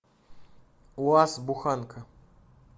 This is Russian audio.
уаз буханка